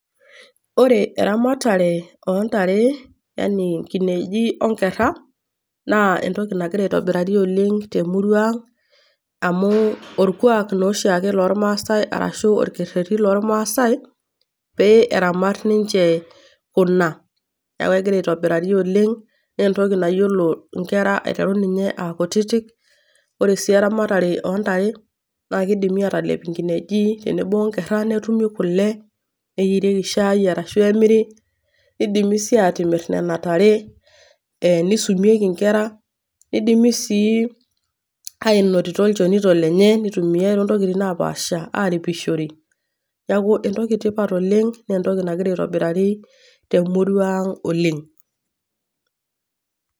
Ore eramatare ontare yani nkinejik onkera naa entoki nagira aitobirari oleng temurua aang amu orkuak oshiake lormasai arashu orkereri lormaasai pee eramat ninche kuna, neaku egira aitobirari oleng nentoki nayiolo nkera aiteru nye akutitik, ore si eramatare ontare na keidimi atelep nkinejik tenebo onkera netumi kule neyierieki shai arashu emiri, keidimi sii atimir nona tare neisumieki nkera nidimi sii ainotito nchonito enye aitumia te nkotoi napaasha aripishore neaku entoki etipat oleng naa entoki nagira aitobirari temurua aang oleng.